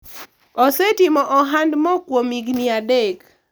osetimo ohand mo kuom higni adek